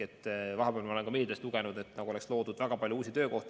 Vahepeal ma olen ka meediast lugenud, nagu oleks loodud väga palju uusi töökohti.